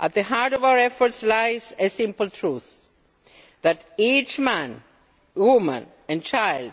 At the heart of our efforts lies a simple truth that each man, woman and child